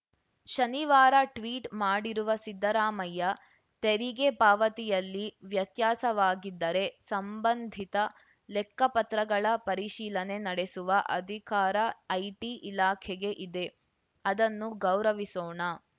ಶನಿವಾರ ಟ್ವೀಟ್‌ ಮಾಡಿರುವ ಸಿದ್ದರಾಮಯ್ಯ ತೆರಿಗೆ ಪಾವತಿಯಲ್ಲಿ ವ್ಯತ್ಯಾಸವಾಗಿದ್ದರೆ ಸಂಬಂಧಿತ ಲೆಕ್ಕಪತ್ರಗಳ ಪರಿಶೀಲನೆ ನಡೆಸುವ ಅಧಿಕಾರ ಐಟಿ ಇಲಾಖೆಗೆ ಇದೆ ಅದನ್ನು ಗೌರವಿಸೋಣ